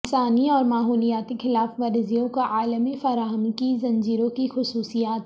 انسانی اور ماحولیاتی خلاف ورزیوں کو عالمی فراہمی کی زنجیروں کی خصوصیات